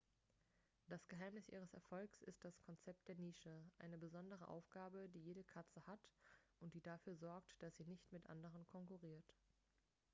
das geheimnis ihres erfolgs ist das konzept der nische eine besondere aufgabe die jede katze hat und die dafür sorgt dass sie nicht mit anderen konkurriert